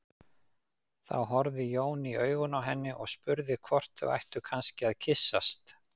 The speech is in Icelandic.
Þá horfði Jón í augun á henni og spurði hvort þau ættu kannski að kyssast.